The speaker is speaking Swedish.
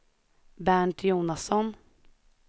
Bernt Jonasson